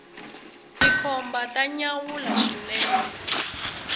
tikhomba ta nyanyula swinene